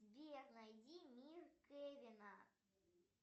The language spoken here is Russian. сбер найди мир кевина